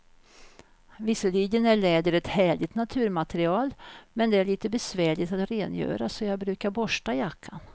Visserligen är läder ett härligt naturmaterial, men det är lite besvärligt att rengöra, så jag brukar borsta jackan.